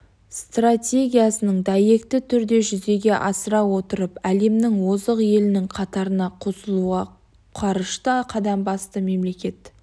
стратегиясын дәйекті түрде жүзеге асыра отырып әлемнің озық елінің қатарына қосылуға қарышты қадам басты мемлекет